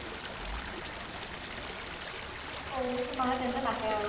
অ', বা তেন্তে নাহে আৰু